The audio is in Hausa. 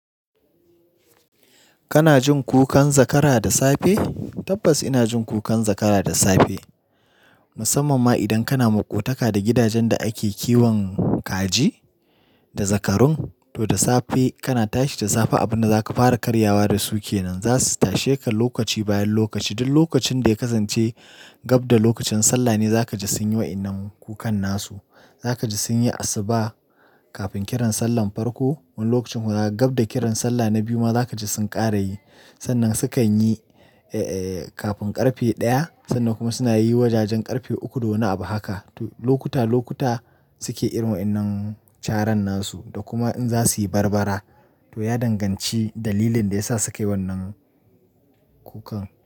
Kana jin kukan zakara da safe? Tabbas ina jin kukan zakara da safe. Musamman ma idan kana maƙotaka da gidajen da ake kiwon kaji da zakarun. To da safe kana tashi da safe abin da zaka fara karyawa da su ke nan. Zasu tashe ka lokaci bayan lokaci. Duk lokacin da ya kasance gab da lokacin sallah ne za kaji sun yi wa'inan kukan nasu. Za kaji sun yi asuba kafin kiran sallar farko. Wani lokacin kuma, gab da kiran sallah na biyu ma za kaji sun ƙara yi. Sannan sukan yi, eh, eh kafin ƙarfe ɗaya. Sannan kuma suna yi wajajen ƙarfe uku, dole a yi ab haka. To lokuta lokuta, suke yin wa'innan taran nasu. Kuma in za su yi barbara, to ya danganci dalilin da ya sa suke wannan kukan.